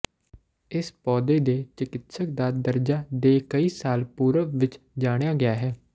ਇਸ ਪੌਦੇ ਦੇ ਚਿਕਿਤਸਕ ਦਾ ਦਰਜਾ ਦੇ ਕਈ ਸਾਲ ਪੂਰਬ ਵਿਚ ਜਾਣਿਆ ਗਿਆ ਹੈ